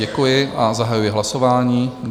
Děkuji a zahajuji hlasování.